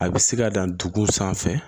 A bɛ se ka dan dugu sanfɛ